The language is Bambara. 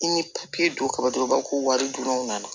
I ni papiye dun kaba dɔrɔn b'a ko wari dɔrɔn nana